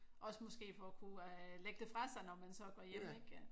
Også måske for at kunne øh lægge det fra sig når man så går hjem ik